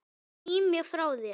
Ég sný mér frá þér.